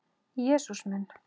Jesús minn!